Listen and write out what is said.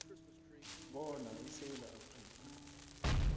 bona isewula afrika